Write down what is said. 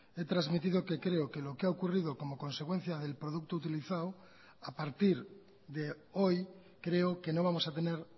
he transmitido que creo que lo que ha ocurrido como consecuencia del producto utilizado a partir de hoy creo que no vamos a tener